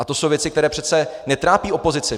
A to jsou věci, které přece netrápí opozici.